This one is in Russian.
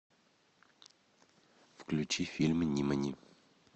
включи фильм нимани